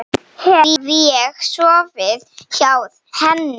Hef ég sofið hjá henni?